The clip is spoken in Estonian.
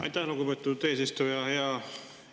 Aitäh, lugupeetud eesistuja!